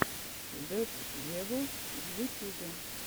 зедд вево в ютюбе